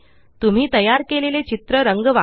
तुम्ही तयार केलेले चित्र रंगवा